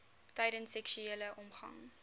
tydens seksuele omgang